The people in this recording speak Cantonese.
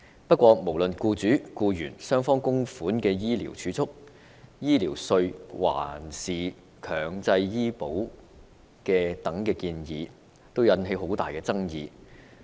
然而，無論是勞資雙方供款的醫療儲蓄計劃、醫療稅，還是強制醫保等建議，全都引起很大爭議。